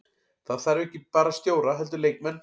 Það þarf ekki bara stjóra heldur leikmenn.